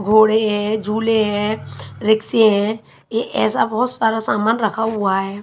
घोड़े है जुले है रेक्सी है एक एसा बोहोट सारा सामान रखा हुआ है।